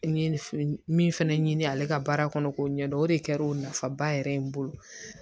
N ye min fɛnɛ ɲini ale ka baara kɔnɔ k'o ɲɛ dɔn o de kɛra o nafaba yɛrɛ ye n bolo